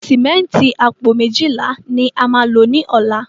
Símẹ́ǹtì apo mejila la ma lo ni ola